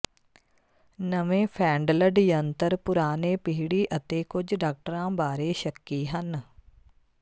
ਨਵੇਂ ਫੈਂਡਲਡ ਯੰਤਰ ਪੁਰਾਣੇ ਪੀੜ੍ਹੀ ਅਤੇ ਕੁਝ ਡਾਕਟਰਾਂ ਬਾਰੇ ਸ਼ੱਕੀ ਹਨ